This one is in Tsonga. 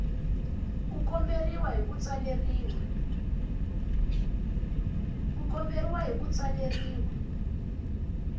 ku komberiwa hi ku tsaleriwa